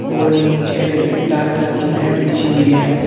और नीचे लाल कलर की मैट बिछी हुई है।